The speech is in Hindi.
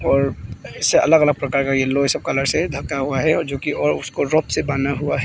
और और इसे अलग अलग प्रकार के एल्लो ए सब कलर से ढका हुआ है जो की और उसको रोप से बंधा हुआ है।